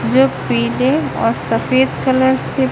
जो पीने और सफेद कलर से--